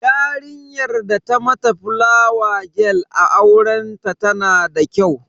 Yarinyar da ta mata fulawa gel a aurenta tana da kyau.